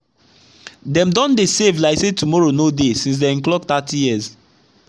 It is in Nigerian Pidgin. them don dey save like say tommorow no deysince dey clock thirty years